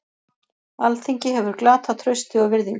Alþingi hefur glatað trausti og virðingu